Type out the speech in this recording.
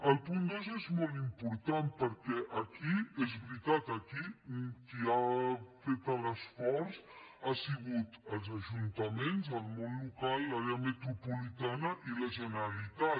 el punt dos és molt important perquè aquí és veritat qui ha fet l’esforç han sigut els ajuntaments el món local l’àrea metropolitana i la generalitat